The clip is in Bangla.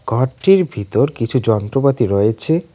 ঘরটির ভিতর কিছু যন্ত্রপাতি রয়েছে।